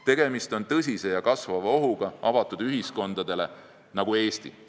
Tegemist on tõsise ja kasvava ohuga avatud ühiskondadele nagu Eesti.